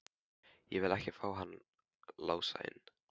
Ég vil ekki fá hann Lása inn.